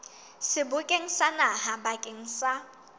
sebokeng sa naha bakeng sa